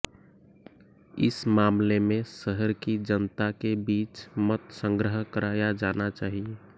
इस मामले में शहर की जनता के बीच मत संग्रह कराया जाना चाहिए